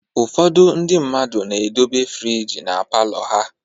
Ụfọdụ ndị mmadụ na-edobe friji na palọ ha